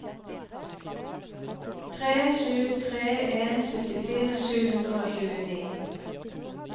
tre sju tre en syttifire sju hundre og tjueni